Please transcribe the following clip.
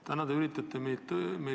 Kumba Jüri Ratast me uskuma peaksime?